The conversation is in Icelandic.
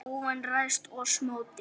óvin ræðst oss móti.